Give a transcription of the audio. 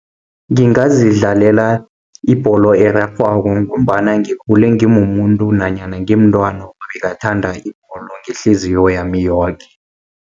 Ngingazi dlalela ibholo erarhwako, ngombana ngikhule ngimumuntu nanyana ngimntwana bengathanda ibholo ngehliziyo yami yoke.